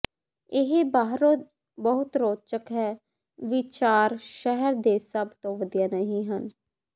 ਇਹ ਬਾਹਰੋਂ ਬਹੁਤ ਰੌਚਕ ਹੈ ਵਿਚਾਰ ਸ਼ਹਿਰ ਦੇ ਸਭ ਤੋਂ ਵਧੀਆ ਨਹੀਂ ਹਨ